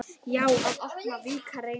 Já, að opna, víkka, reyna.